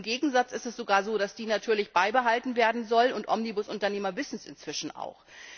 Im Gegenteil ist es sogar so, dass die natürlich beibehalten werden soll, und Omnibusunternehmer wissen das inzwischen auch.